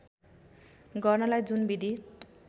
गर्नलाई जुन विधि